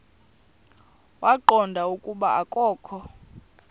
waqonda ukuba akokho